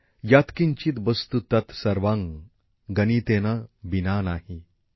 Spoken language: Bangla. যৎ কিঞ্চিৎ বস্তু তত্ সর্বং গণিতেন বিনা নাহি